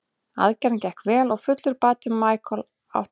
Aðgerðin gekk vel og fullur bati Michael ætti að taka sex mánuði.